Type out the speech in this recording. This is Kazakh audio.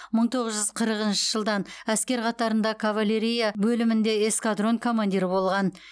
мың тоғыз жүз қырқыншы жылдан әскер қатарында кавалерия бөлімінде эскадрон командирі болған